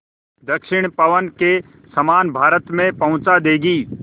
दक्षिण पवन के समान भारत में पहुँचा देंगी